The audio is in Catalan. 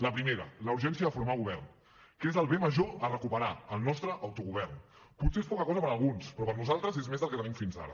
la primera la urgència de formar govern que és el bé major a recuperar el nostre autogovern potser és poca cosa per alguns però per nosaltres és més del que tenim fins ara